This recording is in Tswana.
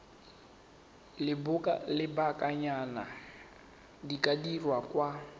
lobakanyana di ka dirwa kwa